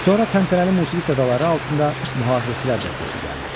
Sonra təntənəli musiqi sədaları altında mühafizəçilər dəstəsi gəldi.